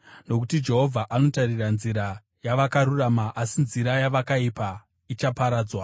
Nokuti Jehovha anotarira nzira yavakarurama, asi nzira yavakaipa ichaparadzwa.